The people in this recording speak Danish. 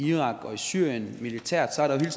i irak og i syrien militært har der jo